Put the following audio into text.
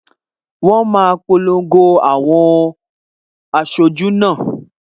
Wọn á polongo àwọn aṣojú náà